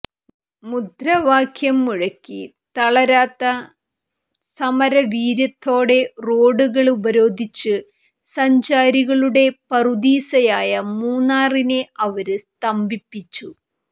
മുദ്രാവാക്യം മുഴക്കി തളരാത്ത സമരവീര്യത്തോടെ റോഡുകള് ഉപരോധിച്ച് സഞ്ചാരികളുടെ പറുദീസയായ മൂന്നാറിനെ അവര് സ്തംഭിപ്പിച്ചു